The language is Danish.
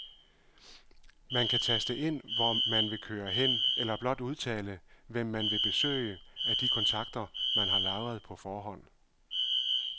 Man kan taste ind, hvor man vil køre hen eller blot udtale, hvem man vil besøge af de kontakter, man har lagret på forhånd.